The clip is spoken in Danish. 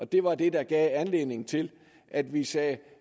det var det der gav anledning til at vi sagde at